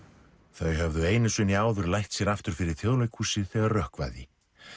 þau höfðu einu sinni áður lætt sér aftur fyrir Þjóðleikhúsið þegar rökkvaði